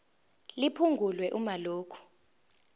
liphungulwe uma lokhu